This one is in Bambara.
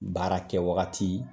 Baara kɛ wagati